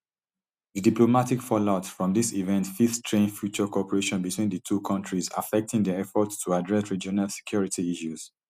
di diplomatic fallout from dis event fit strain future cooperation between di two kontris affecting dia efforts to address regional security issues